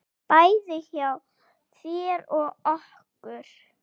Bæði hjá þér og okkur.